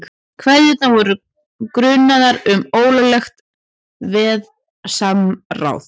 Keðjurnar voru grunaðar um ólöglegt verðsamráð